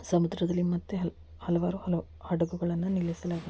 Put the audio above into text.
ಸಮುದ್ರದಲ್ಲಿ ಮತ್ತೆ ಹಲವ ಹಲವಾರು ಹಡಗುಗಳನ್ನು ನಿಲ್ಲಿಸಲಾಗಿದೆ.